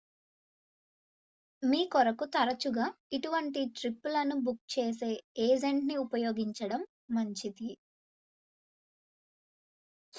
మీ కొరకు తరచుగా ఇటువంటి ట్రిప్పులను బుక్ చేసే ఏజెంట్ ని ఉపయోగించడం మంచిది